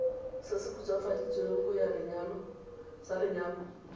se se khutswafaditsweng sa lenyalo